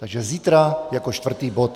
Takže zítra jako čtvrtý bod.